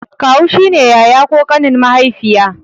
Kawu shine yaya ko ƙanin mahaifiya